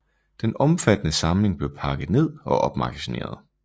Den omfattende samling blev pakket ned og opmagasineret